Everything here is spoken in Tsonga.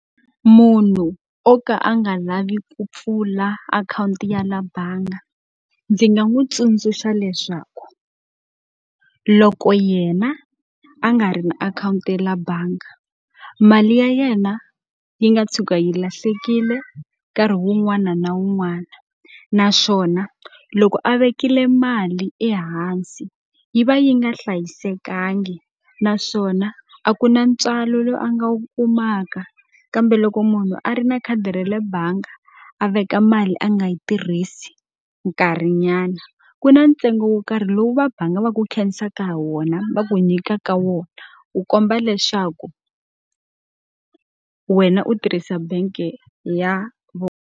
Munhu o ka a nga lavi ku pfula akhawunti ya le bangi, ndzi nga n'wi tsundzuxa leswaku loko yena a nga ri na akhawunti ya le bangi mali ya yena yi nga tshuka yi lahlekile nkarhi wun'wana na wun'wana. Naswona loko a vekile mali ehansi yi va yi nga hlayisekanga, naswona a ku na ntswalo lowu a nga wu kumaka. Kambe loko munhu a ri na khadi ra le bangi a veka mali a nga yi tirhisi nkarhinyana, ku na ntsengo wo karhi lowu vabangi va ku khenseka hi wona, va ku nyikaka wona. Ku kombisa leswaku wena u tirhisa bangi ya .